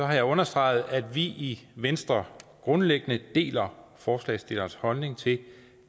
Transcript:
jeg understreget at vi i venstre grundlæggende deler forslagsstillernes holdning til